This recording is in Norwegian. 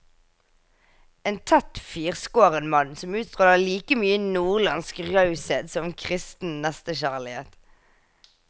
En tett, firskåren mann, som utstråler like mye nordlandsk raushet som kristen nestekjærlighet.